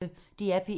DR P1